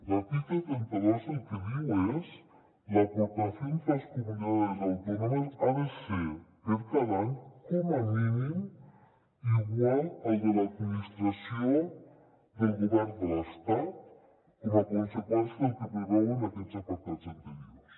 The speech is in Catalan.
l’article trenta dos el que diu és que la aportación de las comunidades autónomas ha de ser per a cada any com a mínim igual a la de l’administració del govern de l’estat com a conseqüència del que preveuen aquests apartats anteriors